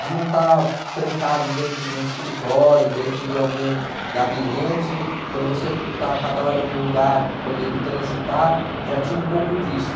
de não estar trancado dentro de um escritório, dentro de algum gabinete, então você está a cada hora num lugar podendo transitar, já tinha um pouco disso.